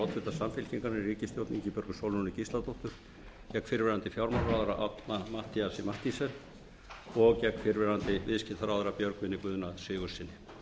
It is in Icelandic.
oddvita samfylkingarinnar í ríkisstjórn ingibjörgu sólrúnu gísladóttur gegn fyrrverandi fjármálaráðherra árna matthíasi mathiesen og gegn fyrrverandi viðskiptaráðherra björgvini guðna sigurðssyni